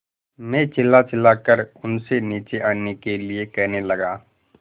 मैं चिल्लाचिल्लाकर उनसे नीचे आने के लिए कहने लगा